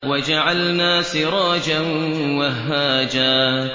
وَجَعَلْنَا سِرَاجًا وَهَّاجًا